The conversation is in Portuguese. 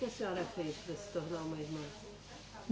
Que a senhora pede para se tornar uma irmã?